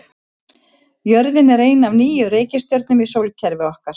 Jörðin er ein af níu reikistjörnum í sólkerfi okkar.